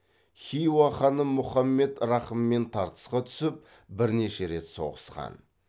хиуа ханы мұхаммед рахыммен тартысқа түсіп бірнеше рет соғысқан